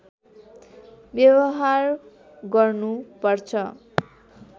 व्यवहार गर्नु पर्छ